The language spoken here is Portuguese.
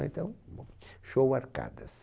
Então, show Arcadas.